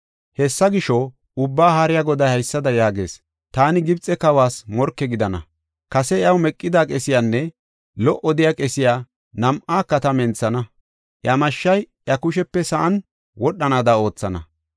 Hessa gisho, Ubbaa Haariya Goday haysada yaagees. Taani Gibxe kawas morke gidana. Kase iyaw meqida qesiyanne lo77o de7iya qesiya nam7aaka ta menthana; iya mashshay iya kushepe sa7an wodhanaada oothana.